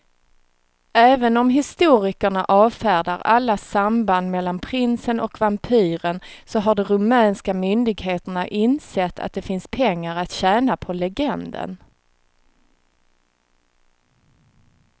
Även om historikerna avfärdar alla samband mellan prinsen och vampyren så har de rumänska myndigheterna insett att det finns pengar att tjäna på legenden.